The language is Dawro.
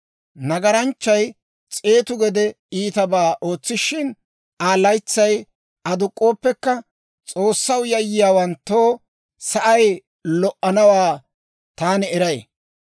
Nagaranchchay s'eetu gede iitabaa ootsishina, Aa laytsay aduk'k'ooppekka, S'oossaw yayyiyaawanttoo sa'ay lo"anawaa taani eray.